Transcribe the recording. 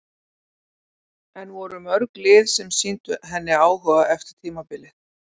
En voru mörg lið sem sýndu henni áhuga eftir tímabilið?